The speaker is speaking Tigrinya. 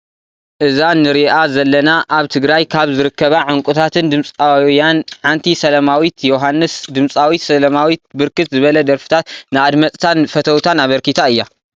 እዛ ንሪአ ዘለና አብ ትግራይ ካብ ዝርከባ ዑንቁታት ድምፃውያን ሓንቲ ስላማዊት የውሃንስ ። ድምፃዊት ስላማዊት ብርክት ዝበለ ደርፍታት ንአድመፅታን ፈተውታን አበርኪታ አያ።